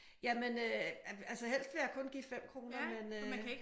Jamen øh altså helst vil jeg kun give 5 kroner men øh